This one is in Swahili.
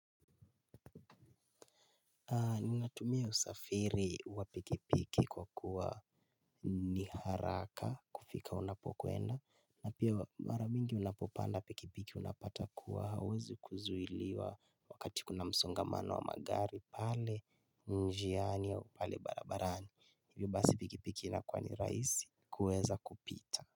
Ninatumia usafiri wa pikipiki kwa kuwa ni haraka kufika unapokwenda na pia mara mingi unapopanda pikipiki unapata kuwa hauwezi kuzuiliwa wakati kuna msongamana wa magari pale njiani au pale barabarani. Hivyo basi pikipiki inakuwa ni rahisi kuweza kupita.